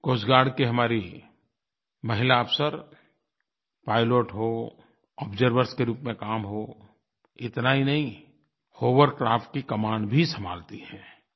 coast guard की हमारी महिला अफ़सर पाइलट हों आब्जर्वर्स के रूप में काम हों इतना ही नहीं होवरक्राफ्ट की कमान भी संभालती हैं